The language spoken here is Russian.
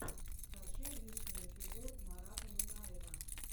скачай лучший эпизод марата нугаева